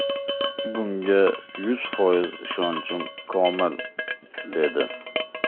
Bunga yuz foiz ishonchim komil”, dedi.